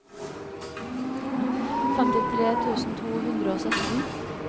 femtifire tusen to hundre og sytten